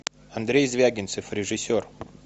андрей звягинцев режиссер